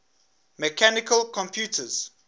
mechanical computers